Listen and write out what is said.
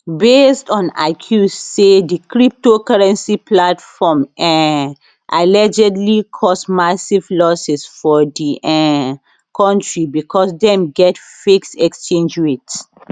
based on accuse say di cryptocurrency platform um allegedly cause massive losses for di um kontri becos dem dey fix exchange rate